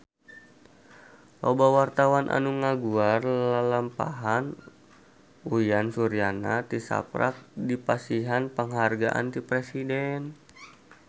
Loba wartawan anu ngaguar lalampahan Uyan Suryana tisaprak dipasihan panghargaan ti Presiden